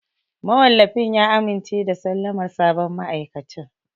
Mawallafin ya amince da sallamar sabon ma'aikacin.